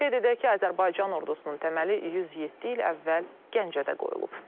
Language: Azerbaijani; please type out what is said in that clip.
Qeyd edək ki, Azərbaycan ordusunun təməli 107 il əvvəl Gəncədə qoyulub.